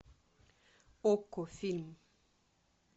окко фильм